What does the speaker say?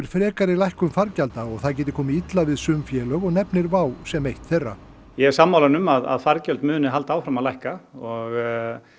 frekari lækkun fargjalda og það geti komið illa við sum félög og nefnir sem eitt þeirra ég er sammála honum að fargjöld muni halda áfram að lækka og